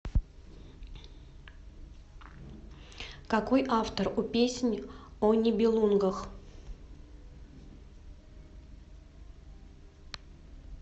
какой автор у песнь о нибелунгах